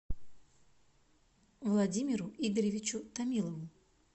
владимиру игоревичу томилову